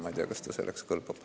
Ma ei tea, kas ta selleks kõlbab.